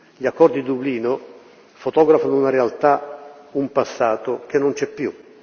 Gli accordi di Dublino fotografano una realtà e un passato che non c'è più.